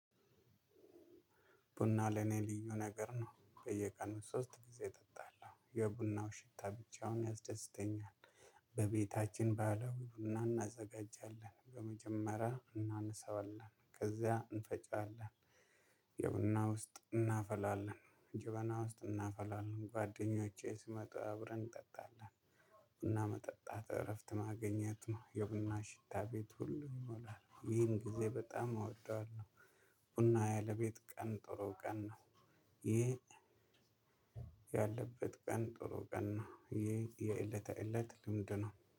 ቡና ለኔ ልዩ ነገር ነው በየቀኑ ሶስት ጊዜ እጠጣለሁ የቡናው ሽታ ብቻውን ያስደስተኛል። በቤታችን ባለው ቡና እናዘጋጃለን በመጀመሪያ እናነሳዋለን ከዛ እንፈጫለን። የቡና ውስጥ እናፈላለን ጀበና ውስጥ እናፈላለን ጓደኞቼ ስመጣ አብረን እንጠጣለን ቡና መጠጣት እረፍት ማግኘት ነው የቡና ሽታ ቤት ሁሉ ይሞላል ይህን ጊዜ በጣም እወደዋለሁ ቡና ያለ ቤት ቀን ጥሩ ቀን ነው ይሄ ያለበት ቀን ጥሩ ቀን ነው ይሄ የእለተ እለት ልምድ ነው